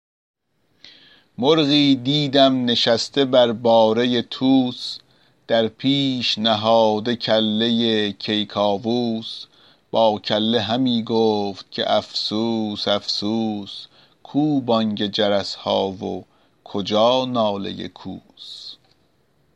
مرغی دیدم نشسته بر باره طوس در پیش نهاده کله کیکاووس با کله همی گفت که افسوس افسوس کو بانگ جرس ها و کجا ناله کوس